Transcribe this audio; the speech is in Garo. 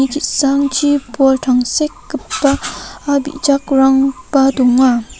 ki·sangchi bol tangsekgipa bijakrangba dong·a.